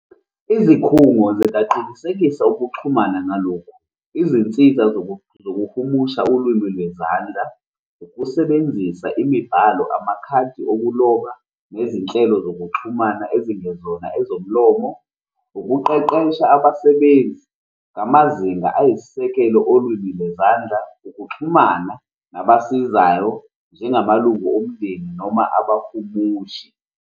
Izikhungo zingaqinisekisa ukuxhumana ngalokhu, izinsiza zokuhumusha olumi lwezandla, ukusebenzisa imibhalo, amakhadi okuloba, nezinhlelo zokuxhumana ezingezona ezomlomo, ukuqeqesha abasebenzi ngamazinga ayisisekelo olwimi lwezandla, ukuxhumana nabasizayo njengamalungu omndeni noma abahumushi.